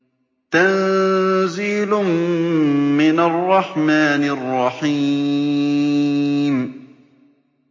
تَنزِيلٌ مِّنَ الرَّحْمَٰنِ الرَّحِيمِ